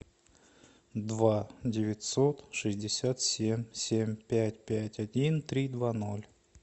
два девятьсот шестьдесят семь семь пять пять один три два ноль